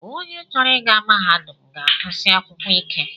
Onye chọrọ ịga mahadum ga-agụsi akwụkwọ ike